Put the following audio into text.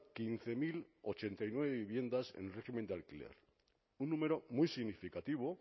quince mil ochenta y nueve viviendas en régimen de alquiler un número muy significativo